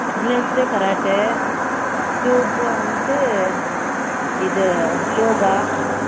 Wednesday karate Tuesday வந்துட்டு இது Yoga